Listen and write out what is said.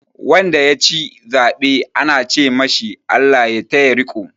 Wanda ya ci zaɓe ana ce ma shi "Allah ya taya riƙo"